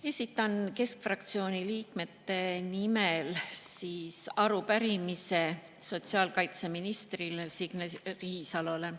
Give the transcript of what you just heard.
Esitan keskfraktsiooni liikmete nimel arupärimise sotsiaalkaitseministrile Signe Riisalole.